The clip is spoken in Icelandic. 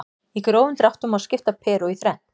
Í grófum dráttum má skipta Perú í þrennt.